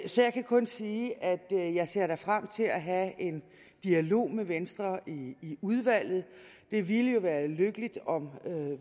så jeg kan kun sige at jeg da ser frem til at have en dialog med venstre i udvalget og det ville jo være lykkeligt om